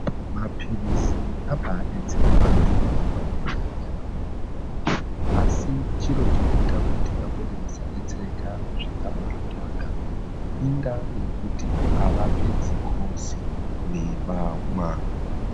Maphilizi abaadetsera vanthu vakawanda yaamho. Asi chiro chinoita kuti vamweni vasadetsereka zvakabanaka ,indaa yekuti avapedzi kumwa mapilizi avanenge vapuwa.